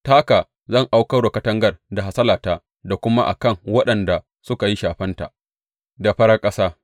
Ta haka zan aukar wa katangar da hasalata da kuma a kan waɗanda suka yi shafenta da farar ƙasa.